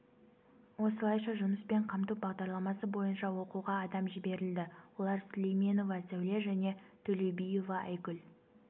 осылайша жұмыспен қамту бағдарламасы бойынша оқуға адам жіберілді олар сүлейменова сәуле және төлеубиева айгүл